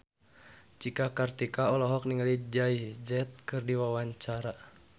Cika Kartika olohok ningali Jay Z keur diwawancara